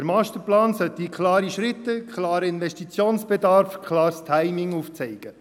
Der Masterplan sollte klare Schritte, klaren Investitionsbedarf und klares Timing aufzeigen.